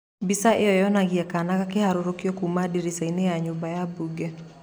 Mbica ĩno yonanagia kaana gakĩharũrũkio kuuma ndirica-inĩ ya Nyũmba ya Bunge.